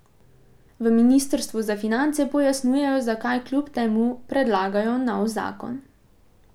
V ministrstvu za finance pojasnjujejo, zakaj kljub temu predlagajo nov zakon.